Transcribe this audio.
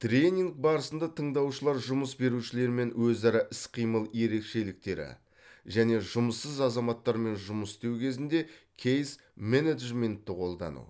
тренинг барысында тыңдаушылар жұмыс берушілермен өзара іс қимыл ерекшеліктері және жұмыссыз азаматтармен жұмыс істеу кезінде кейс менеджментті қолдану